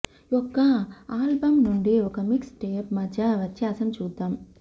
యొక్క ఆల్బమ్ నుండి ఒక మిక్స్ టేప్ మధ్య వ్యత్యాసం చూద్దాం